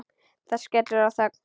Það skellur á þögn.